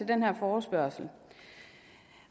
den her forespørgsel